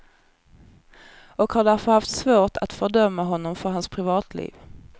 Och har därför haft svårt att fördöma honom för hans privatliv.